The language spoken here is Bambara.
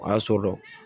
O y'a so dɔ